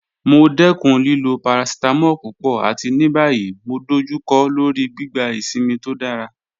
Mo dẹkun lilo paracetamol pupọ̀, àti ní báyìí mo dọ̀jùkọ́ lọ́rí gbígbà ìṣínmi tó dára